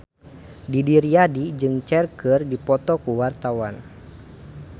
Didi Riyadi jeung Cher keur dipoto ku wartawan